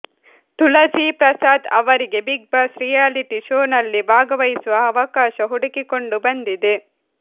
ತುಳಸಿ ಪ್ರಸಾದ್ ಅವರಿಗೆ Bigg Boss reality ಶೋನಲ್ಲಿ ಭಾಗವಹಿಸುವ ಅವಕಾಶ ಹುಡುಕಿಕೊಂಡು ಬಂದಿದೆ